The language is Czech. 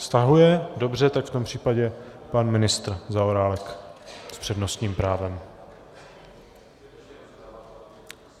Stahuje, dobře, tak v tom případě pan ministr Zaorálek s přednostním právem.